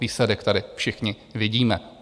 Výsledek tady všichni vidíme.